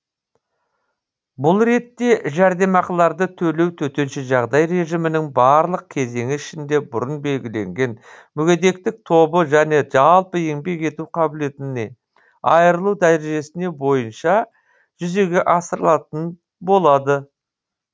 бұл ретте жәрдемақыларды төлеу төтенше жағдай режимінің барлық кезеңі ішінде бұрын белгіленген мүгедектік тобы және жалпы еңбек ету қабілетінен айырылу дәрежесіне бойынша жүзеге асырылатын болады